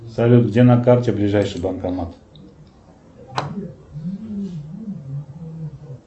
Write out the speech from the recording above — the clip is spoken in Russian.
салют где на карте ближайший банкомат